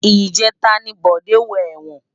Ijètá ni Bode wò èwòn